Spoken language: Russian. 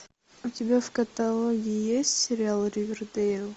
у тебя в каталоге есть сериал ривердейл